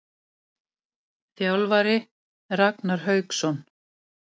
Þjálfari: Ragnar Hauksson.